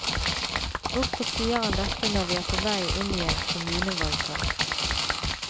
Hvorfor sier han dette når vi er på vei inn i en kommunevalgkamp?